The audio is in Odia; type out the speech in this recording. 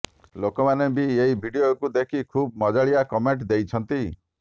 ଲୋକମାନେ ବି ଏହି ଭିଡିଓକୁ ଦେଖି ଖୁବ୍ ମଜାଳିଆ କମେଣ୍ଟ ଦେଇଛନ୍ତି